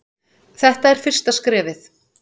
Þetta er fyrsta skrefið.